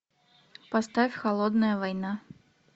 поставь холодная война